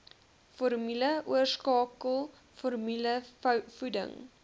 formule oorskakel formulevoeding